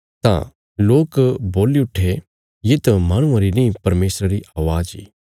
तां लोक बोल्ली उठे येत माहणुआं री नीं परमेशरा री अवाज़ इ